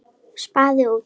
Spaði út.